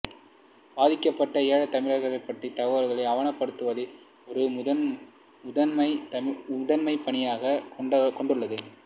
பாதிக்கப்பட்ட ஈழத் தமிழர்கள் பற்றிய தகவல்களை ஆவணப்படுத்துவதை ஒரு முதன்மைப் பணியாகக் கொண்டுள்ளது